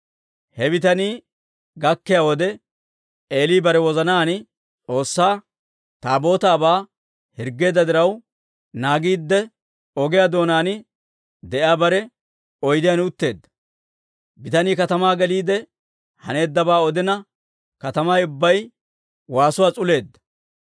He bitanii gakkiyaa wode, Eeli bare wozanaan S'oossaa Taabootaabaa hirggeedda diraw, naagiidde ogiyaa doonaan de'iyaa bare oydiyaan utteedda. Bitanii katamaa geliide, haneeddabaa odina, katamay ubbay waasuwaa s'uleedda.